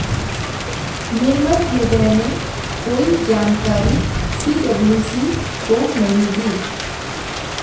निर्मल हृदय ने कोई जानकारी सीडब्ल्यूसी को नहीं दी